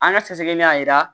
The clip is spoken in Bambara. An ka sɛgɛsɛgɛli y'a jira